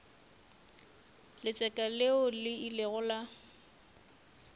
letseka leo le ilego la